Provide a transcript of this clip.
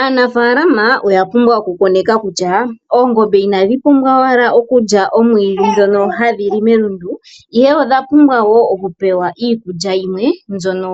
Aanafaalama oya lumwa okukoneka kutya oongombe inadhi pumwa owala okulya omwiidhi ndhono hadhi li melundu ihe odha pumbwa wo okupewa iikulya yimwe mbyono